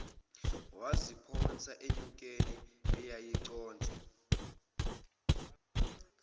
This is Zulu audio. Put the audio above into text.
waziphonsa enyokeni eyayisiconsa